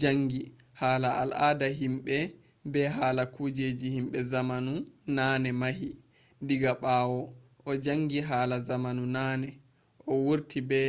jangi hala al ada himɓe be hala kujeji himɓe zamanu nane mahi diga ɓawo o janggi hala zamanu naane. o wurti be